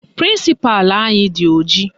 Prịnsịpalụ anyị dị ojii